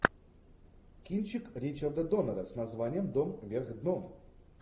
кинчик ричарда доннера с названием дом вверх дном